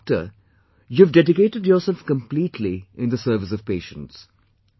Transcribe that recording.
As a doctor, you have dedicated yourself completely in the service of patients